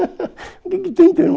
O que que tem de teu irmão?